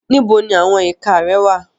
Níbo ni àwọn ìka rẹ wà?